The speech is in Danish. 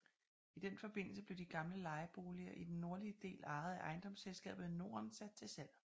I den forbindelse blev de gamle lejeboliger i den nordlige del ejet af Ejendomsselskabet Norden sat til salg